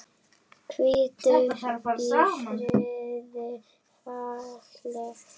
Hvíldu í friði félagi.